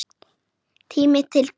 Tími til kominn.